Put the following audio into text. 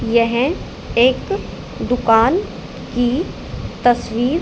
यह एक दुकान की तस्वीर--